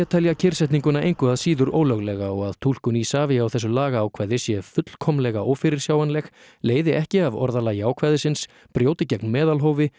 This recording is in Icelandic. telja kyrrsetninguna engu að síður ólöglega og að túlkun Isavia á þessu lagaákvæði sé fullkomlega ófyrirsjáanleg leiði ekki af orðalagi ákvæðisins brjóti gegn meðalhófi